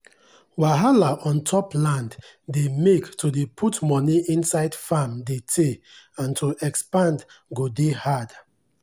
wahala ontop land dey make to dey put money inside farm de teyyy and to expand go dey hard